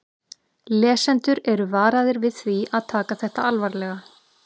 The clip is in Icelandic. Lesendur eru varaðir við því að taka þetta alvarlega.